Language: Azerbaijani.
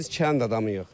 Biz kənd adamıyıq.